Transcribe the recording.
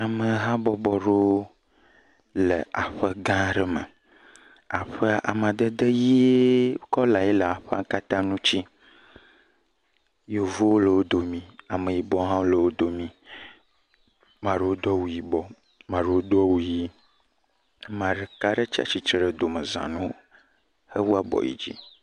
Ame habɔbɔ aɖewo le aƒe gã aɖe me. Aƒea, amadede ʋie ƒe kɔlae le aƒea kata ŋuti, yevu le wodo mi ame yibɔ ha le wodomi, ƒame aɖewo do awu yibɔ , ame aɖewo do awu ʋi. Ame ɖeka tsia tsitre ɖe dome za nawo he wu abɔ yidzi.